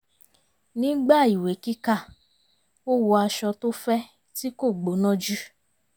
nígbà ìwé kíkà ó wọ aṣọ tó fẹ́ tí kò gbóná jù